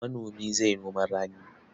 Manomi zai noman rani.